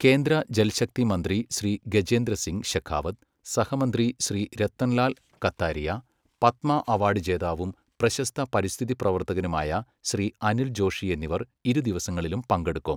കേന്ദ്ര ജൽശക്തി മന്ത്രി ശ്രീ ഗജേന്ദ്ര സിംഗ് ശെഖാവത്ത്, സഹമന്ത്രി ശ്രീ രത്തൻലാൽ കത്താരിയ, പത്മ അവാർഡ് ജേതാവും പ്രശസ്ത പരിസ്ഥിതി പ്രവർത്തകനുമായ ശ്രീ അനിൽ ജോഷി എന്നിവർ ഇരു ദിവസങ്ങളിലും പങ്കെടുക്കും.